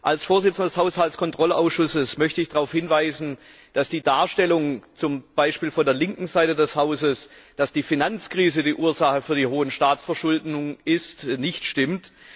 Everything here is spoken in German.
Als Vorsitzender des Haushaltskontrollausschusses möchte ich darauf hinweisen, dass die Darstellung zum Beispiel von der linken Seite des Hauses dass die Finanzkrise die Ursache für die hohen Staatsverschuldungen ist, nicht stimmt.